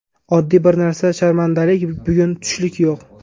Oddiy bir narsa sharmandalik bugun tushlik yo‘q.